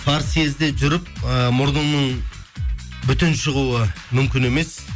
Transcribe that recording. партсъезде жүріп ііі мұрныңның бүтін шығуы мүмкін емес